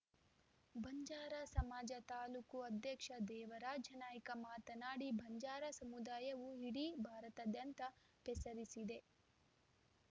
ಬಂಜಾರ ಸಮಾಜದ ತಾಲೂಕು ಅಧ್ಯಕ್ಷ ದೇವರಾಜ ನಾಯ್ಕ ಮಾತನಾಡಿ ಬಂಜಾರ ಸಮುದಾಯವು ಇಡೀ ಭಾರತದಾದ್ಯಂತ ಪೆ ಸರಿಸಿದೆ